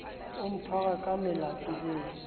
o mphara ka melato eo